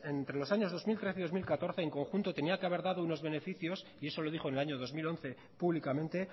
entre los años dos mil trece y dos mil catorce en conjunto tenía que haber dado unos beneficios y eso lo dijo en el año dos mil once públicamente